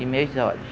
E meus olhos.